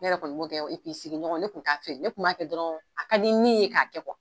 Ne yɛrɛ kɔni b'o kɛ sigiɲɔgɔn ne kun t'a feere . Ne kun b'a kɛ dɔrɔn a ka di n ni ye ka kɛ